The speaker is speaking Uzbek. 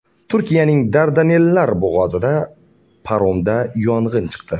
Turkiyaning Dardanellar bo‘g‘ozida paromda yong‘in chiqdi.